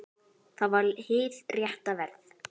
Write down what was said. Það var hið rétta verð.